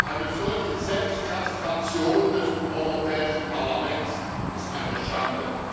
Eine solche Selbstkastration des Europäischen Parlaments ist eine Schande.